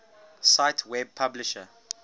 cite web publisher